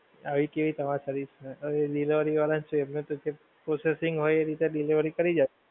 આવી કેવી તમારી service ને હવે delivery વાળા છે એમને તો જેમ processing હોય એ રીતે delivery કરી જાવ